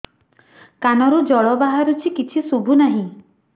କାନରୁ ଜଳ ବାହାରୁଛି କିଛି ଶୁଭୁ ନାହିଁ